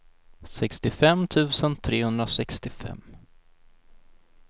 sextiofem tusen trehundrasextiofem